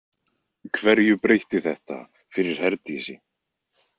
Hverju breytti þetta fyrir Herdísi?